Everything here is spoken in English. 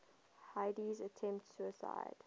heidi attempts suicide